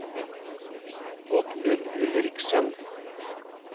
Oddmund Ulriksen